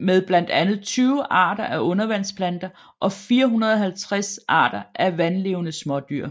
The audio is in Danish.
med blandt andet 20 arter af undervandsplanter og 450 arter af vandlevende smådyr